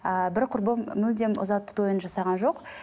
ааа бір құрбым мүлдем ұзату тойын жасаған жоқ